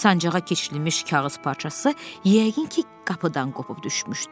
Sancağa keçirilmiş kağız parçası yəqin ki, qapıdan qopub düşmüşdü.